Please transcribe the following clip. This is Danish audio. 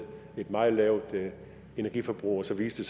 et meget lavt energiforbrug og så viste